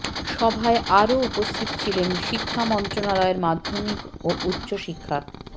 সভায় আরও উপস্থিত ছিলেন শিক্ষা মন্ত্রণালয়ের মাধ্যমিক ও উচ্চ শিক্ষা